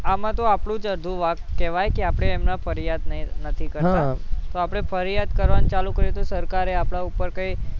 આમાં તો આપણું જ અડધું વાંક કહેવાય કે આપણે એમના ફરિયાદ નહીં, નથી કરતા હમ તો આપણે ફરિયાદ કરવાનું ચાલુ કરીએ તો સરકારે આપણા કઈ ઉપર કઈ